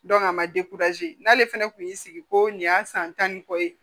a ma n'ale fɛnɛ kun y'i sigi ko nin y'a san tan ni kɔ ye